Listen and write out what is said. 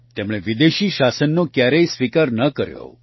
તેમણે વિદેશી શાસનને કયારેક સ્વીકાર ન કર્યો